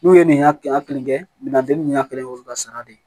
N'u ye nin ya kɛ yan kelen kɛ minan te ni nin ya kelen ye u bi ka sara de